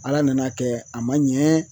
Ala nana kɛ a ma ɲɛ